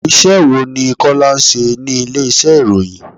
Iṣẹ́ wo ni Kọ́lá ń ṣe ní ilé ìṣe ìròyìn?